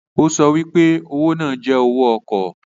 O so pe owo naa jẹ owó ọkọ.